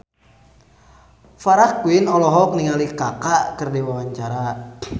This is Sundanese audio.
Farah Quinn olohok ningali Kaka keur diwawancara